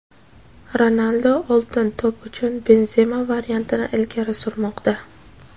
Ronaldo "Oltin to‘p" uchun Benzema variantini ilgari surmoqda.